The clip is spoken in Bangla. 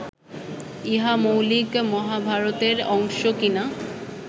ইহা মৌলিক মহাভারতের অংশ কি না